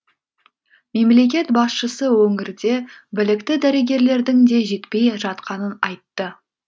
мемлекет басшысы өңірде білікті дәрігерлердің де жетпей жатқанын айтты